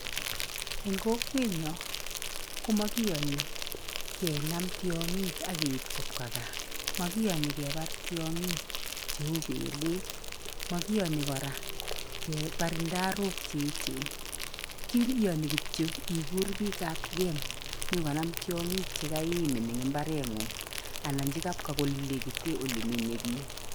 Eng kokwenyo komo kiyoni kenam tiongik ak keib kopka gaa, mokiyoni kebar tiongik cheu belek, makiyoni kora kebar ndarok che echen. Kiyoni kityo ikuur biik ab game nyokonam tiongik che kaimin ing imbarengung anan olelekite olemenye piik.